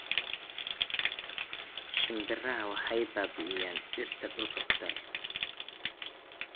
Shimbiraha waxay baabi'iyaan dhirta duurka ku taal